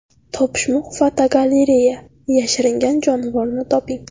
Topishmoq-fotogalereya: Yashiringan jonivorni toping.